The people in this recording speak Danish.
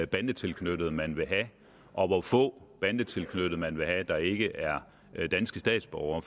bandetilknyttede man vil have og hvor få bandetilknyttede man vil have der ikke er danske statsborgere